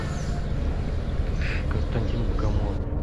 константин богомолов